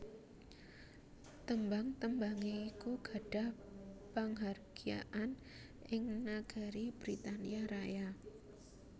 Tembhang tembhangé iku gadhah panghargyaan ing nagari Britania Raya